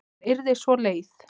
Hún yrði svo leið.